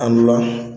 A ntolan